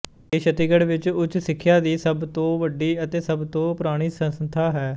ਇਹ ਛੱਤੀਸਗੜ੍ਹ ਵਿਚ ਉੱਚ ਸਿੱਖਿਆ ਦੀ ਸਭ ਤੋਂ ਵੱਡੀ ਅਤੇ ਸਭ ਤੋਂ ਪੁਰਾਣੀ ਸੰਸਥਾ ਹੈ